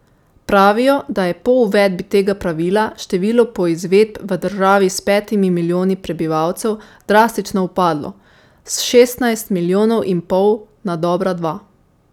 Pravijo, da je po uvedbi tega pravila število poizvedb v državi s petimi milijoni prebivalcev drastično upadlo, s šestnajst milijonov in pol na dobra dva.